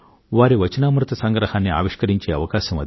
వారి వచనామృత సంగ్రహాన్ని ఆవిష్కరించే అవకాశం అది